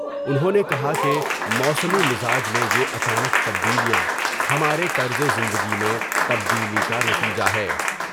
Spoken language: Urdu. انہوں نے کہا کہ موسمی مزاج میں یا یہ اچانک تبدیلیاں ہمارے طرز زندگی میں تبدیلی کا نتیجہ ہے ۔